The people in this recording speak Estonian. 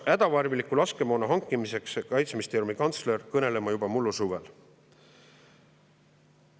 Hädatarviliku laskemoona hankimisest hakkas Kaitseministeeriumi kantsler kõnelema juba mullu suvel.